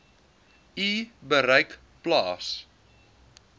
u bereik plaas